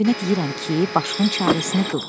Qaragünə deyirəm ki, başının çarəsini qıl.